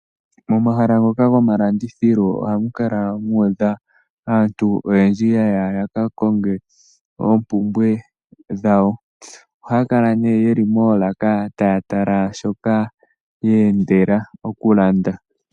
Momahala ngoka gomalandithilo ohamu kala muudha aantu oyendji yaya yakakonge oompumbwe dhawo . Ohaya kala ne yeli moolaka taya tala shoka yeendela okulanda.